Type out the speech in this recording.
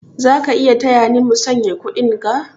Za ka taya ni musanya kuɗinga?